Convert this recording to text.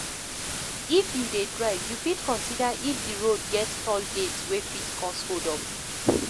If you dey drive, you fit consider if di road get toll gate wey fit cause hold up